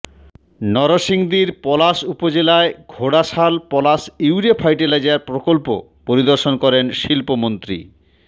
নরসিংদীর পলাশ উপজেলায় Ghorashal Palash urea fertiliser প্রকল্প পরিদর্শন করেন শিল্পমন্ত্রী